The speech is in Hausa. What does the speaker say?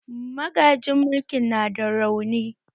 Magajin mulkin na da rauni